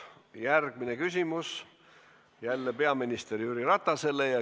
Järgmine küsimus on jälle peaminister Jüri Ratasele.